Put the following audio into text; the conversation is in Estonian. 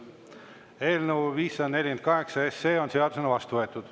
Eelnõu 548 on seadusena vastu võetud.